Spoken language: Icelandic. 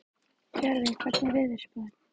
Tjörvi, hvernig er veðurspáin?